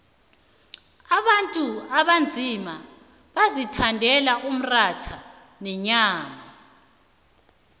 abantu abanzima bazithandela umratha nenyama